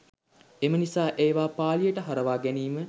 එම නිසා ඒවා පාළියට හරවා ගැනීම